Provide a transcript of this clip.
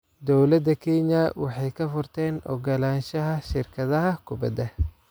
Dowladda Kenya waxay ka furteen ogolaanshaha shirkadaha kubada.